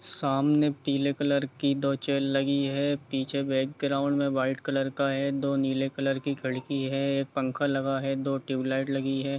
सामने पीले कलर की दो चैल लगी हुई है पीछे बैकग्राउंड में वाइट कलर का है दो नील कलर कि खिड़की है एक पंखा लगा है दो ट्यूब लाइट लगी है।